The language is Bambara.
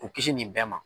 K'u kisi nin bɛɛ ma